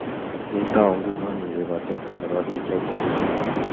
Kwetau nguno isub atebto nebo biik chechang